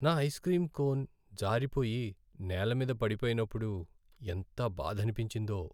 నా ice cream cone జారిపోయి, నేల మీద పడిపోయినప్పుడు ఎంత బాధనిపించిందో.